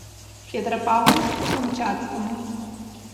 петропавловску камчатскому